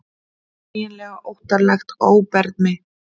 Eiginlega óttalegt óbermi.